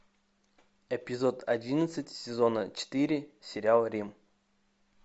эпизод одиннадцать сезона четыре сериал рим